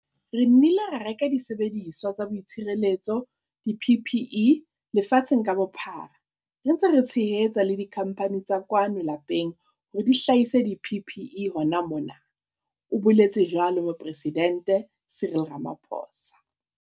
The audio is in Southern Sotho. "Re nnile ra reka disebediswa tsa boitshireletso, di-PPE, lefatsheng ka bophara, re ntse re tshehetsa le dikhamphane tsa kwano lapeng hore di hlahise di-PPE hona mona," o boletse jwalo Moporesidente Cyril Ramaphosa.